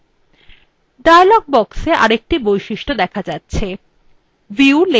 dialog box আরেকটি বৈশিষ্ট দেখা যাচ্ছেview layout